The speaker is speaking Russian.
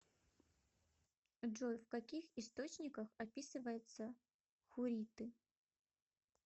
джой в каких источниках описывается хурриты